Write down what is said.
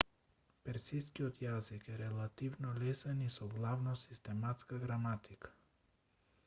персискиот јазик е релативно лесен и со главно систематска граматика